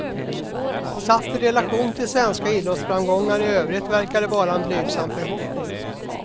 Satt i relation till svenska idrottsframgångar i övrigt verkar det vara en blygsam förhoppning.